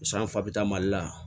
San fa bi ta mali la